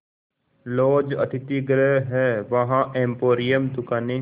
laws अतिथिगृह हैं वहाँ एम्पोरियम दुकानें